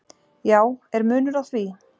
"""Já, er munur á því?"""